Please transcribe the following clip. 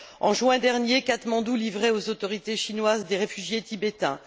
En juin dernier, Katmandou livrait aux autorités chinoises des réfugiés tibétains.